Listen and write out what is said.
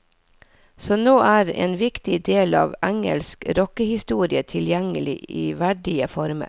Så nå er en viktig del av engelsk rockehistorie tilgjengelig i verdige former.